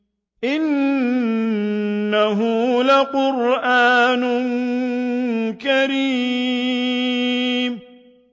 إِنَّهُ لَقُرْآنٌ كَرِيمٌ